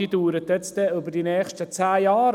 Diese Planung dauert über die nächsten zehn Jahre.